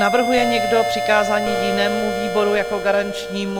Navrhuje někdo přikázání jinému výboru jako garančnímu?